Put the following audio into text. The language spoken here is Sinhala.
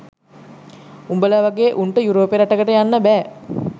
උබල වගේ උන්ට යුරෝපේ රටකට යන්න බෑ